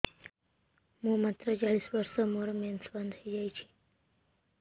ମୁଁ ମାତ୍ର ଚାଳିଶ ବର୍ଷ ମୋର ମେନ୍ସ ବନ୍ଦ ହେଇଯାଇଛି